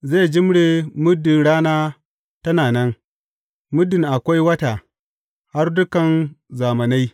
Zai jimre muddin rana tana nan, muddin akwai wata, har dukan zamanai.